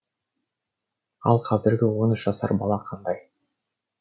ал қазіргі он үш жасар бала қандай